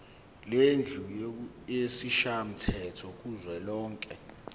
lendlu yesishayamthetho kuzwelonke